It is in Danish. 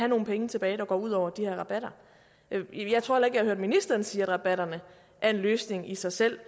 nogle penge tilbage der går ud over de her rabatter jeg tror jeg har hørt ministeren sige at rabatterne er en løsning i sig selv